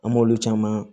An m'olu caman